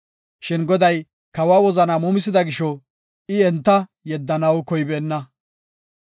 Shin Goday kawa wozanaa muumisida gisho, I enta yeddanaw koybeenna.